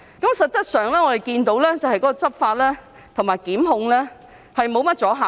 事實上，我們看見執法和檢控沒甚麼阻嚇力。